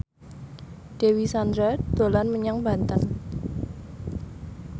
Dewi Sandra dolan menyang Banten